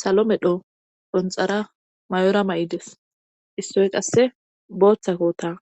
salo medho ponxara mayora ma7ides issoy qasse booththa koota